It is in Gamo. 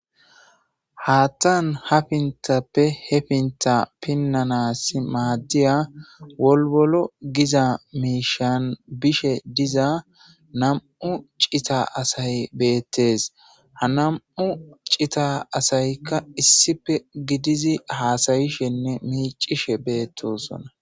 haattan ha pintappe he pinta pinnanas maaddiya wolwolo giza miishan bishe diza nam''u cita asay beettes. ha nam''u cita asaykka issife gidizi haasayishenne miicishe beettosona.